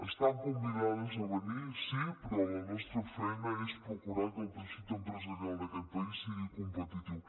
estan convidades a venir sí però la nostra feina és procurar que el teixit empresarial del nostre país sigui competitiu